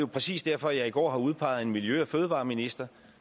præcis derfor at jeg i går udpegede en miljø og fødevareminister